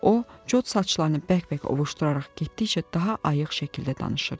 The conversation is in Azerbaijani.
O, çot saçlarını bərk-bərk ovuşduraraq getdikcə daha ayıq şəkildə danışırdı.